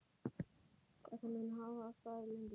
Þetta mun hafa staðið lengi.